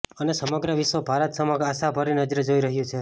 અને સમગ્ર વિશ્ર્વ ભારત સમક્ષ આશા ભરી નજરે જોઈ રહ્યું છે